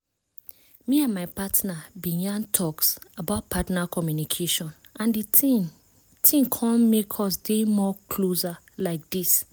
me and my partner been yan talks about partner communication and the thing thing come make us dey more closer like this